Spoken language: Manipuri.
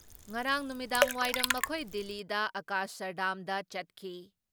ꯉꯔꯥꯡ ꯅꯨꯃꯤꯗꯥꯡꯋꯥꯏꯔꯝ ꯃꯈꯣꯏ ꯗꯤꯜꯂꯤꯗ ꯑꯀꯁꯔꯙꯥꯝꯗ ꯆꯠꯈꯤ ꯫